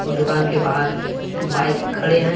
उन दुकान के बाहर बाइक खड़े हैं।